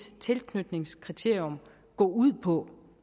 tilknytningskriterium gå ud på